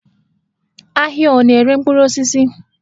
Ahịa ọ na-ere mkpụrụ osisi?